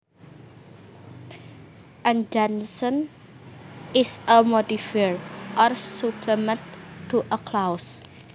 An adjunct is a modifier or supplement to a clause